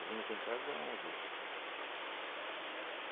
minhas entradas eram ao vivo. Ahn.